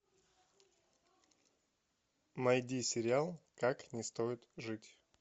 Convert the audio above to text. найди сериал как не стоит жить